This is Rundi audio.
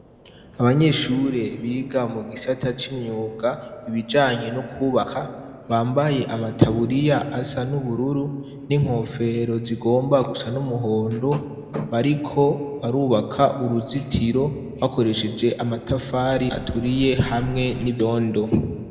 Abanyeshure biga mu gisata c'imyuga ibijanye no kwubaka, bambaye amataburiya asa n'ubururu n'inkofero zigomba gusa n'umuhondo, bariko barubaka uruzitiro bakoresheje amatafari aturiye hamwe n'ivyondo.